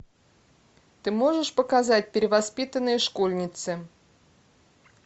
ты можешь показать перевоспитанные школьницы